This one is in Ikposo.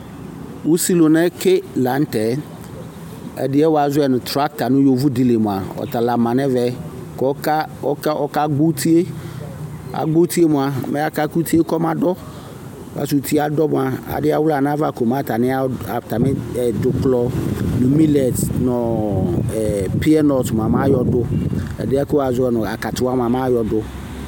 Usilʋna yɛ ke laŋtɛ, ɛdi yɛ woazɔ nu traka nʋ yovodi li mua, ɔtala manɛmɛ, kɔka, ɔka, ɔka gbɔ utue Agbɔ utue mua mɛ aka k'utie kɔmadɔ, kas'utie adɔ mua, adialiua nayava kɔmatani, atami, ɛ, dzuklɔ, nʋ milɛt nu ɛɛ, pinɔt mayɔdʋ, ɛdiɛ buaku wazɔɛnu akatuwa mua, mayɔdʋ